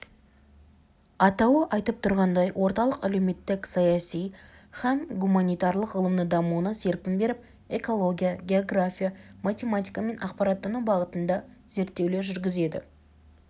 атауы айтып тұрғандай орталық әлеуметтік саяси хәм гуманитарлық ғылымның дамуына серпін беріп экология география математика мен ақпараттану бағытында зерттеулер жүргізеді